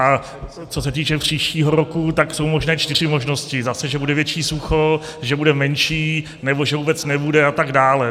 A co se týče příštího roku, tak jsou možné čtyři možnosti: zase že bude větší sucho, že bude menší, nebo že vůbec nebude a tak dále.